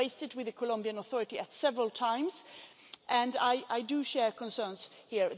We have raised it with the Colombian authorities several times and I do share concerns here.